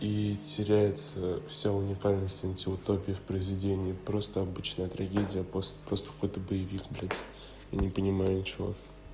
и теряется вся уникальность антиутопия в произведении просто обычная трагедия пост просто какой-то боевик блядь я не понимаю ничего